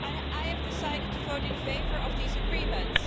I have decided to vote in favour of these agreements.